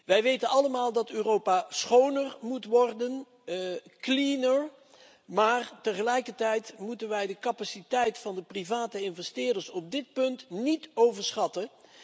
Wij weten allemaal dat Europa schoner moet worden, maar tegelijkertijd moeten wij de capaciteit van de private investeerders op dit punt niet overschatten.